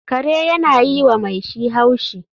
Kare yana yi wa mai shi haushi